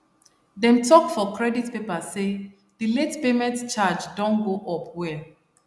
dem talk for credit paper say the late payment charge don go up well